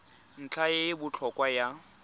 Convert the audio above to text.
ntlha e e botlhokwa ya